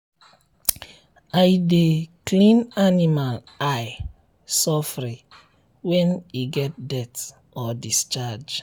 i dey clean animal eye sofri when e get dirt or discharge.